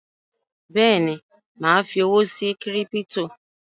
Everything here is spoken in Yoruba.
Bẹ́ẹ̀ni, mà á fi owó sí kírípítò